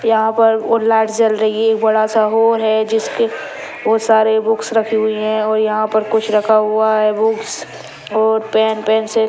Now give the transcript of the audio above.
यहाँ पर और लाइट जल रही है एक बड़ा सा हॉल है जिसके बहुत सारे बुक्स रखी हुई है और यहाँ पर कुछ रखा हुआ है बुक्स और पेन पेसिल ।